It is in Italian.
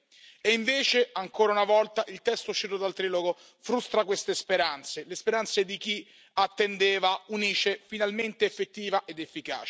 E invece, ancora una volta, il testo uscito dal trilogo frustra queste speranze, le speranze di chi attendeva un'ICE finalmente effettiva ed efficace.